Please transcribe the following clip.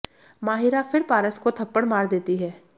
माहिरा फिर पारस को थप्पड़ मार देती है